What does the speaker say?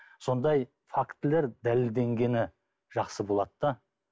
сондай фактілер дәлелденгені жақсы болады да